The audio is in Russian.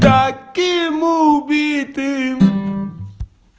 таким убитым